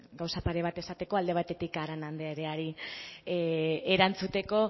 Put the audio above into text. gauza pare bat esateko alde batetik arana andreari erantzuteko